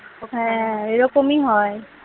হ্যাঁ এরকমই হয়